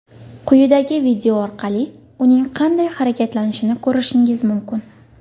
Quyidagi video orqali uning qanday harakatlanishini ko‘rishingiz mumkin.